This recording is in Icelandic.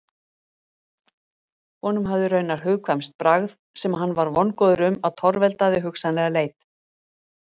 Honum hafði raunar hugkvæmst bragð sem hann var vongóður um að torveldaði hugsanlega leit.